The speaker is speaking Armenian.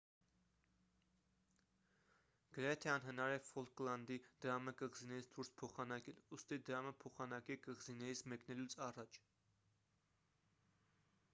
գրեթե անհնար է ֆոլկլանդի դրամը կղզիներից դուրս փոխանակել ուստի դրամը փոխանակեք կղզիներից մեկնելուց առաջ